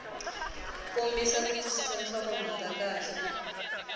kombisa ku twisisa nhlokomhaka kahle